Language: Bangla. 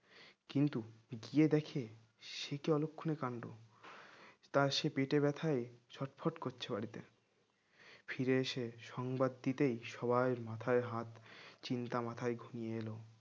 কিন্তু গিয়ে দেখে সে কি অলক্ষণে কান্ড তার সে পেটের ব্যথায় ছটফট করছে বাড়িতে ফিরেছে সংবাদ দিতে সবাই মাথায় হাত চিন্তা মাথায় ঘনিয়ে এলো